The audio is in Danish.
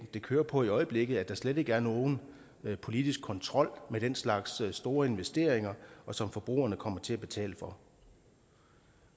kører på i øjeblikket hvor der slet ikke er nogen politisk kontrol med den slags store investeringer som forbrugerne kommer til at betale for